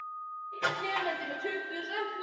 ÞETTA ER NÓG!